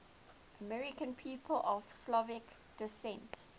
american people of slovak descent